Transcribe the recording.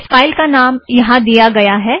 इस फ़ाइल का नाम यहाँ दिया गया है